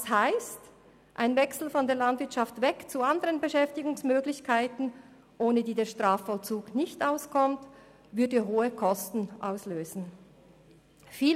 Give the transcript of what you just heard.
Das bedeutet, dass ein Wechsel von der Landwirtschaft weg zu anderen Beschäftigungsmöglichkeiten, ohne die der Strafvollzug nicht auskommt, hohe Kosten auslösen würde.